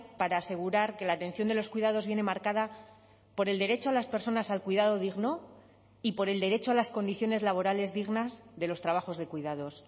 para asegurar que la atención de los cuidados viene marcada por el derecho a las personas al cuidado digno y por el derecho a las condiciones laborales dignas de los trabajos de cuidados